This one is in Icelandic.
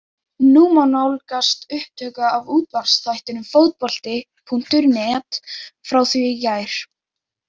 Nú má nálgast upptöku af útvarpsþættinum Fótbolti.net frá því í gær.